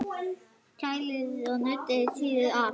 Kælið og nuddið hýðið af.